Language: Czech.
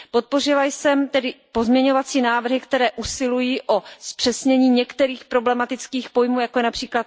Podpořila jsem tedy pozměňovací návrhy, které usilují o zpřesnění některých problematických pojmů, jako je např.